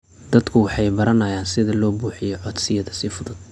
Dadku waxay baranayaan sida loo buuxiyo codsiyada si fudud.